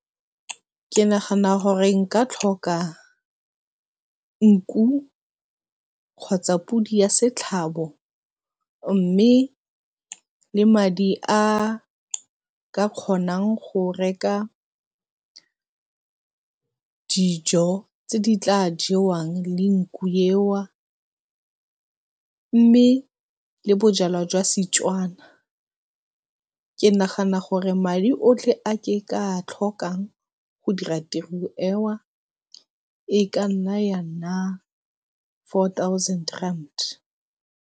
Ke nagana gore nka tlhoka nku kgotsa podi ya setlhabo mme le madi a ka kgonang go reka dijo tse di tla jewang le nku e mme, le bojalwa jwa Setswana ke nagana gore madi otlhe a ke a tlhokang go dira tiro e ka nna ya nna four thousand rand.